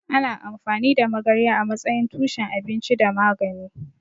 Ana amfani da magarya a matsayin tushen abinci da magani.